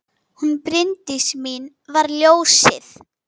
Hún Bryndís mín var ljósið.